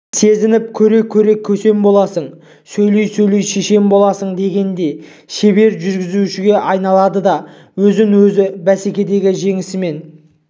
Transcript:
сезініп көре-көре көсем боласың сөйлей-сөйлей шешен боласың дегендей шебер жүргізушіге айналады да өзін-өзі бәсекедегі жеңісімен